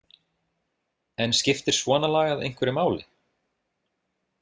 En skiptir svona lagað einhverju máli?